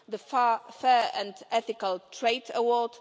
the Fair and Ethical Trade Award